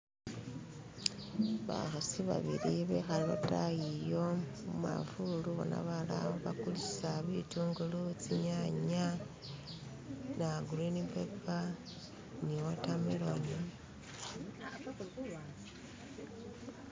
Bakhasi babili bekhale lotayi yo mumafuluna balala bakulisa bitungulu tsinyanya naa gurinipepa ni wotameloni